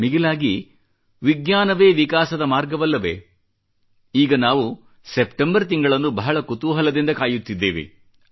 ಮಿಗಿಲಾಗಿ ವಿಜ್ಞಾನವೇ ವಿಕಾಸದ ಮಾರ್ಗವಲ್ಲವೇ ಈಗ ನಾವು ಸೆಪ್ಟೆಂಬರ್ ತಿಂಗಳನ್ನು ಬಹಳ ಕುತೂಹಲದಿಂದ ಕಾಯುತ್ತಿದ್ದೇವೆ